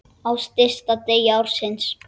Á stysta degi ársins.